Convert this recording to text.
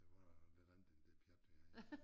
Det var noget lidt andet end det pjat vi har